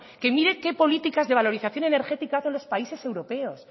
mire qué políticas de valorización energética hacen los países europeos